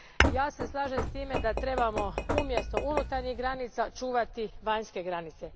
Ja se slažem s tim da trebamo umjesto unutarnjih granica čuvati vanjske granice.